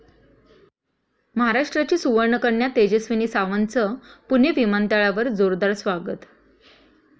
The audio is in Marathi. महाराष्ट्राची सुवर्णकन्या तेजस्विनी सावंतचं पुणे विमानतळावर जोरदार स्वागत